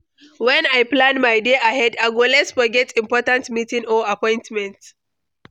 When I plan my day ahead, I go less forget important meetings or appointments.